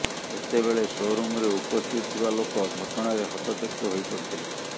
ସେତେବେଳେ ସୋରୁମରେ ଉପସ୍ଥିତ ଥିବା ଲୋକ ଘଟଣାରେ ହତଚକିତ ହୋଇପଡ଼ିଥିଲେ